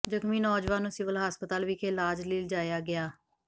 ਜਖ਼ਮੀ ਨੌਜਵਾਨ ਨੂੰ ਸਿਵਲ ਹਸਪਤਾਲ ਵਿਖੇ ਇਲਾਜ ਲਈ ਲਿਜਾਇਆ ਗਿਆ